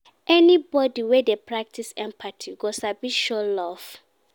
Anybodi wey dey practice empathy go sabi show love.